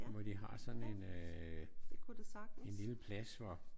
Hvor de har sådan en øh en lille plads hvor